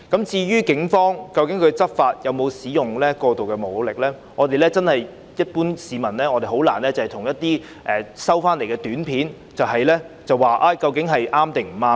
至於警方在執法時有否使用過度武力，一般市民真的難以單憑一些短片判斷對錯。